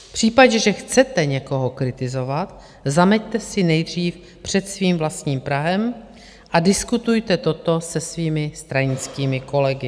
V případě, že chcete někoho kritizovat, zameťte si nejdřív před svým vlastním prahem a diskutujte toto se svými stranickými kolegy.